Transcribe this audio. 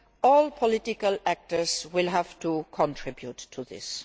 All political actors will have to contribute to this.